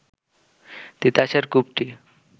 তিতাসের কূপটি